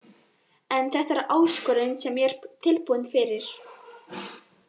En þetta er áskorun sem ég er tilbúin fyrir.